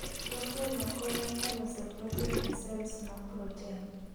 Proten no konyo e loso proten e cells mag proten